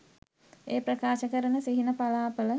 ඒ ප්‍රකාශ කරන සිහින පලාඵල